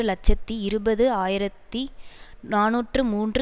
இலட்சத்தி இருபது ஆயிரத்தி நாநூற்று மூன்று